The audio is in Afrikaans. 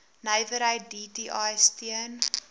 nywerheid dti steun